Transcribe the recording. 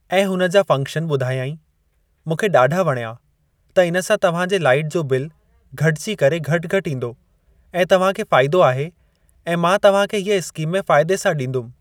ऐं हुन जा फॅनक्शन ॿुधायाईं, मूंखे ॾाढा वणयां त इन सां तव्हां जे लाइट जो बिल घटिजी करे घटि घटि ईंदो ऐं तव्हां खे फ़ाइदो आहे ऐं मां तव्हां खे हीअ स्कीम में फ़ाइदे सां ॾींदुमि।